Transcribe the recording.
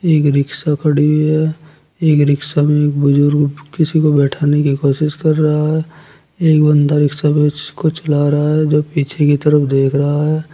एक रिक्शा खड़ी हुई है एक रिक्शा में एक बुजुर्ग किसी को बैठाने की कोशिश कर रहा है एक बंदा रिक्शा को चला रहा है जो पीछे की तरफ देख रहा है।